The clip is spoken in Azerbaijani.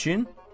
Niyəçin?